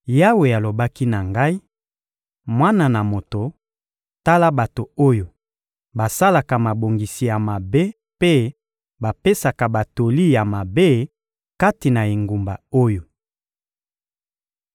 Yawe alobaki na ngai: «Mwana na moto, tala bato oyo basalaka mabongisi ya mabe mpe bapesaka batoli ya mabe kati na engumba oyo.